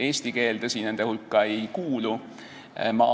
Eesti keel, tõsi, nende hulka ei kuulu.